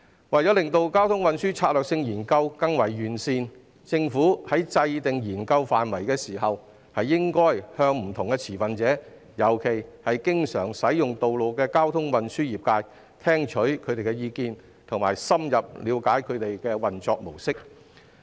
為了令交通運輸策略性研究更為完善，政府在制訂研究範圍時，應該聽取不同持份者，特別是經常使用道路的交通運輸業界的意見，並深入了解他們的運作模式。